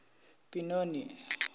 binoni